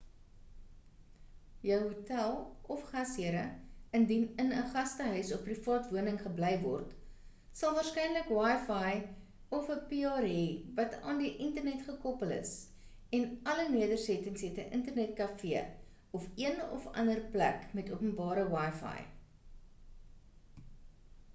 jou hotel of gashere indien in ‘n gastehuis of privaat woning gebly word sal waarskynlik wifi of ‘n pr hê wat aan die internet gekoppel is en alle nederstettings het ‘n internet kafee of een of ander plek met openbare wifi